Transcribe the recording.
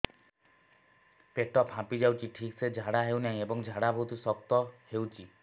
ପେଟ ଫାମ୍ପି ଯାଉଛି ଠିକ ସେ ଝାଡା ହେଉନାହିଁ ଏବଂ ଝାଡା ବହୁତ ଶକ୍ତ ହେଉଛି